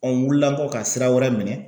wulila kɔ ka sira wɛrɛ minɛn.